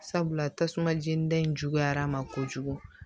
Sabula tasuma jenida in juguyara a ma kojugu